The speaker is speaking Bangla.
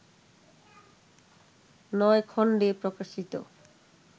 নয় খণ্ডে প্রকাশিত